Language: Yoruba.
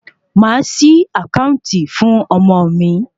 Màá ṣí àkáàntì fún ọmọ mi.